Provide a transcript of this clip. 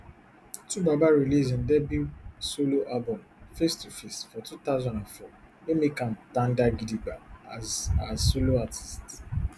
twobaba release im debut solo album face two face for two thousand and four wey make am tanda gidigba as as solo artist